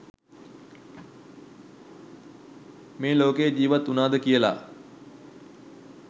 මේ ලෝකේ ජිවත් උනාද කියලා.